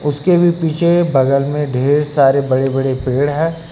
उसके भी पीछे बगल में ढेर सारे बड़े बड़े पेड़ हैं।